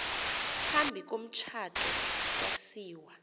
phambi komtshato yasiwa